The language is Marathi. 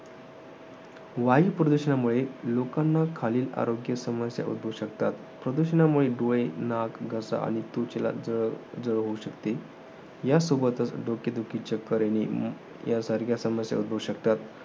वायुप्रदूषणामुळे लोकांना खालील आरोग्य समस्या उद्भवू शकतात. प्रदूषणामुळे डोळे, नाक, घसा आणि त्वचेला जळजळ होऊ शकते. यासोबतच डोकेदुखी, चक्कर येणे यांसारख्या समस्या उद्भवू शकतात.